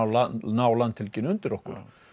ná landhelginni undir okkur